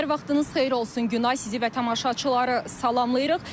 Hər vaxtınız xeyir olsun Günay, sizi və tamaşaçıları salamlayırıq.